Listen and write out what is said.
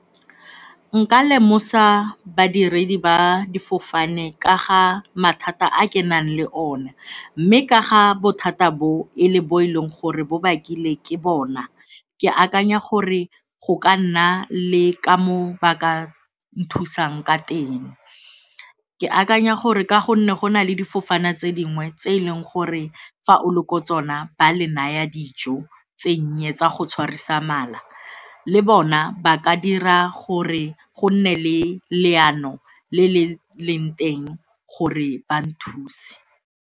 Nka lemosa badiredi ba difofane ka ga mathata a ke nang le one mme ka ga bothata bo e le bo e leng gore bo bakile ke bona, ke akanya gore go ka nna le ka mo ba ka nthusang ka teng. Ke akanya gore ka gonne go na le difofane tse dingwe tse e leng gore fa o le kwa tsona ba le naya dijo tse dinnye tsa go tshwarisa mala le bona ba ka dira gore go nne le leano le le leng teng gore ba thuse.